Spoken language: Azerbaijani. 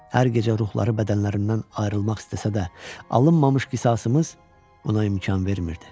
Hər gecə ruhları bədənlərindən ayrılmaq istəsə də, alınmamış qisasımız buna imkan vermirdi.